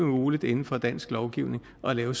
muligt inden for dansk lovgivning at lave